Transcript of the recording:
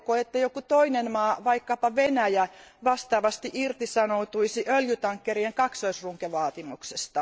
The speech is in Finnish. Haluatteko, että joku toinen maa, vaikkapa Venäjä, vastaavasti irtisanoutuisi öljytankkerien kaksoisrunkovaatimuksesta?